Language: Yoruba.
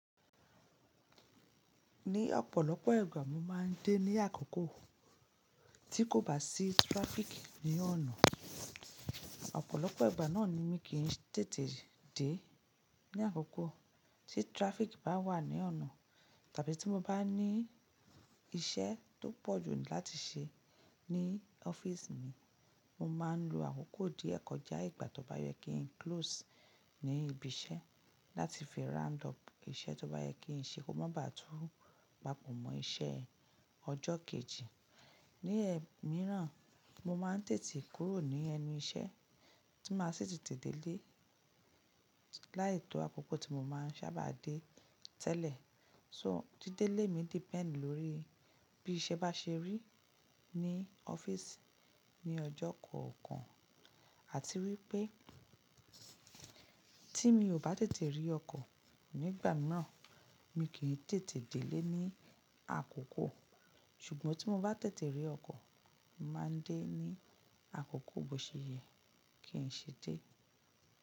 Ní ọ̀pọ̀lọpọ̀ ìgbà mo máa ń dé ní àkọ́kọ́ tí kò bá sí traffic ní ọ̀nà. Ọ̀pọ̀lọpọ̀ ìgbà náà ni mí kì í tètè dé ní àkọ́kọ́ tí traffic bá wà ní ọ̀nà, tàbí tí mo bá ní iṣẹ́ tó pọ̀ jù láti ṣe ní ọ́fíìsì mi, mo máa ń lo àkókò díẹ̀ kọjá ìgbà tó bá yẹ kí n close ní ibi iṣẹ́ láti fi round up iṣẹ́ tó bá yẹ kí n ṣe kó má ba à tú papọ̀ mọ́ iṣẹ́ ọjọ́ kejì. Ní ẹ̀ míràn, mo máa ń tètè kúrò ní ẹnu iṣẹ́ tí máa sì tètè dé lé láì to àkókò tí mo máa ń sábà dé tẹ́lẹ̀. So, dídé lé mi depend lórí bí iṣẹ́ bá ṣe rí ní ọ́fíìsì ní ọjọ́ kọ̀ọ̀kan àti wípé tí mi ò bá tètè rí ọkọ̀ nígbà míràn, mi kì í tètè dé lé ní àkọ́kọ́. Ṣùgbọ́n tí mo bá tètè rí ọkọ̀, màá ń dé ní àkọ́kọ́ bó ṣe yẹ kí n ṣe dé.